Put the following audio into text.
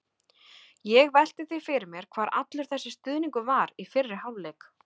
Ég velti því fyrir mér hvar allur þessi stuðningur var í fyrri hálfleik?